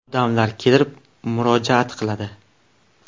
Odamlar kelib murojaat qiladi.